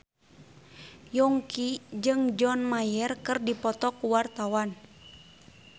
Yongki jeung John Mayer keur dipoto ku wartawan